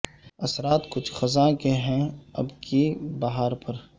اثرات کچھ خزاں کے ہیں اب کی بہار پر